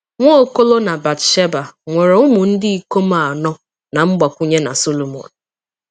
Nwaokolo na Bat-sheba nwere umu-ndikom anọ na mgbakwunye na Solomon.